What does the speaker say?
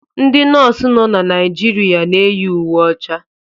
Ndị Nọọsụ nọ na Naijiria na-eyi uwe ọcha.